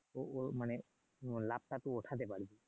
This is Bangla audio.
উম লাভটা তুই উঠাতে পারবি